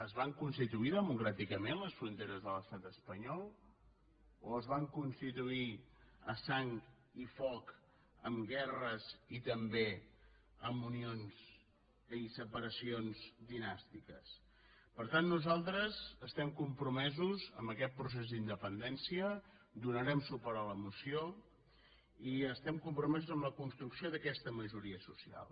es van constituir democràticament les fronteres de l’estat espanyol o es van constituir a sang i foc amb guerres i també amb unions i separacions dinàstiques per tant nosaltres estem compromesos en aquest procés d’independència donarem suport a la moció i estem compromesos en la construcció d’aquesta majoria social